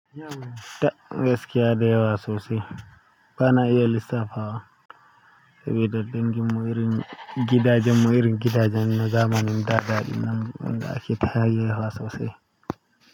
Tab gaskiya da yawa sosai ba na iya lissafawa sabida ɗinkin mu irin gidaje, mu irin gidaje, na zamanin, da da ɗinnan wanda ake ta hayayyafa sosai.